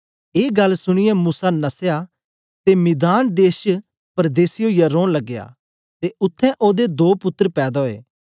ए गल्ल सुनीयै मूसा नसया ते मिघान देश च परदेसी ओईयै रौन लगया ते उत्थें ओदे दो पुत्तर पैदा ओये